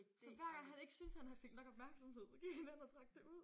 Så hver gang han ikke syntes han fik nok opmærksomhed så gik han hen og trak det ud